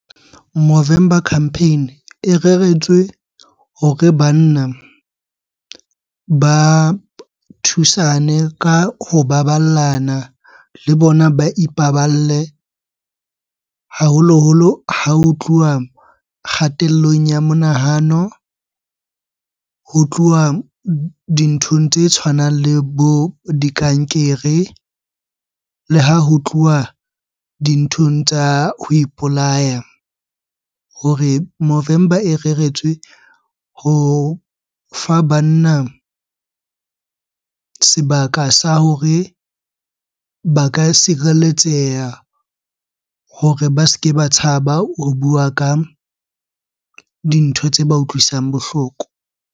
Movember Campaign e reretswe hore banna ba thusane ka ho baballa bana le bona ba ipaballe. Haholoholo ha ho tluwa kgatellong ya monahano, ho tluwa dinthong tse tshwanang le bo dikankere, le ha ho tluwa dinthong tsa ho ipolaya. Hore Movember e reretswe ho fa banna sebaka sa hore ba ka sireletseha hore ba se ke ba tshaba ho bua ka dintho tse ba utlwisang bohloko.